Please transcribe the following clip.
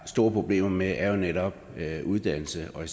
er store problemer med er jo netop uddannelse og i